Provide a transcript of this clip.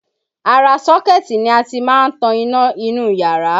Ara sọ́kẹ́ti ni a ti máa ń tan iná inú ìyára